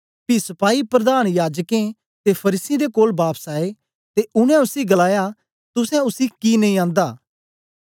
पी सपाही प्रधान याजकें ते फरीसियें दे कोल बापस आए ते उनै उसी गलाया तुसें उसी कि नेई आंदा